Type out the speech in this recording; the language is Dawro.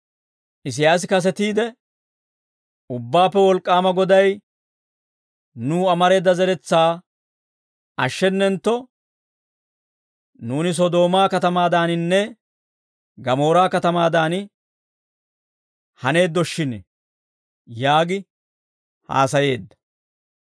Isiyaasi kasetiide, «Ubbaappe Wolk'k'aama Goday, nuw amareedda zeretsaa ashshenentto, nuuni, Sodoomaa katamaadaaninne, Gamoora katamaadan haneeddoshshin» yaagi haasayeedda.